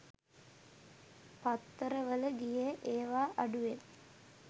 පත්තර වල ගියෙ ඒවා අඩුවෙන්